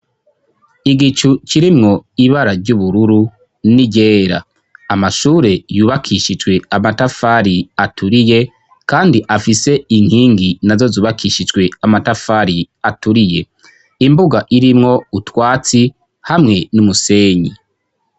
Igicu kirimwo ibara ry'ubururu n'iryera, amashure yubakishijwe amatafari aturiye kandi afise inkingi nazo zubakishijwe amatafari aturiye, imbuga irimwo utwatsi hamwe n'umusenyi.